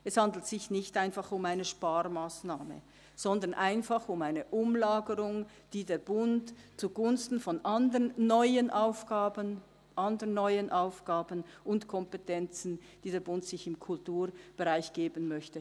Es handelt sich nicht einfach um eine Sparmassnahme, sondern einfach um eine Umlagerung des Bundes zugunsten anderer neuer Aufgaben und Kompetenzen, die sich der Bund im Kulturbereich geben möchte.